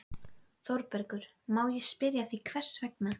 ÞÓRBERGUR: Má ég spyrja hvers vegna?